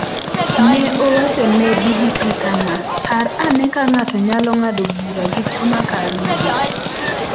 Ne owacho ne BBC kama: “Par ane ka ng’ato nyalo ng’ado bura gi chuma kar ng’ado pi.”